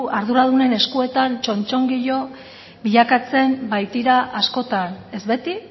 arduraduren eskuetan txotxongilo bilakatzen baitira askotan ez beti